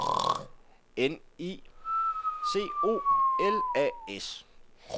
N I C O L A S